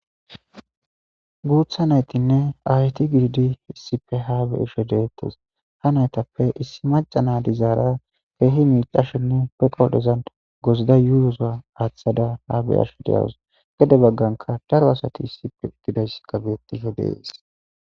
guutha naytinne ayeti gididi issippe haabe ishe deettes ha naytappe issi maca na dizaara keehi miicashenne peqoodhezan gozida yuuyoza aaththada ha beyasho deyawus gede bagganka daro asati issipe uddidays gabyetife deesis